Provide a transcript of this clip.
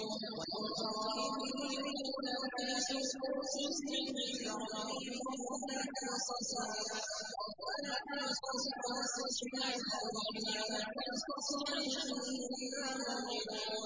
وَلَوْ تَرَىٰ إِذِ الْمُجْرِمُونَ نَاكِسُو رُءُوسِهِمْ عِندَ رَبِّهِمْ رَبَّنَا أَبْصَرْنَا وَسَمِعْنَا فَارْجِعْنَا نَعْمَلْ صَالِحًا إِنَّا مُوقِنُونَ